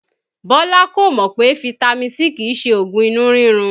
Bọ́lá kò mọ̀ pé fitami C kìí ṣe oògùn inú rírun